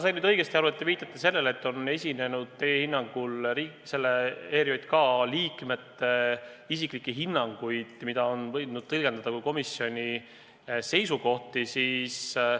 Kui ma sain õigesti aru, siis te viitate sellele, et teie arvates on ERJK liikmed andnud isiklikke hinnanguid, mida on võidud tõlgendada kui komisjoni seisukohti?